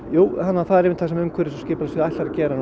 jú það er einmitt það sem umhverfis og skipulagssvið ætlar að gera